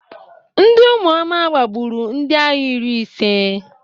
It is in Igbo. Ndị ụmụoma gbagburu ndịagha iri ise.